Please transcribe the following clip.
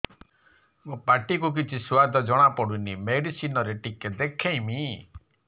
ମୋ ପାଟି କୁ କିଛି ସୁଆଦ ଜଣାପଡ଼ୁନି ମେଡିସିନ ରେ ଟିକେ ଦେଖେଇମି